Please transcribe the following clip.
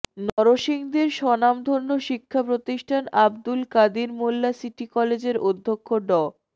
নরসিংদীর স্বনামধন্য শিক্ষাপ্রতিষ্ঠান আবদুল কাদির মোল্লা সিটি কলেজের অধ্যক্ষ ড